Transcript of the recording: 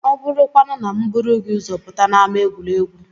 Ọ bụrụkwanụ na m buru gị ụzọ pụta n'ámá egwuregwu?